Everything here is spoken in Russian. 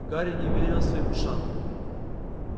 гарри не верил своим ушам